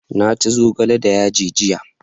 na ci zogale da yaji jiya